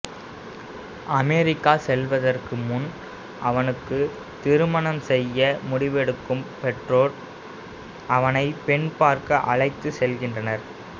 America செல்வதற்கு முன் அவனுக்குத் திருமணம் செய்ய முடிவெடுக்கும் பெற்றோர் அவனைப் பெண் பார்க்க அழைத்துச் செல்கின்றனர்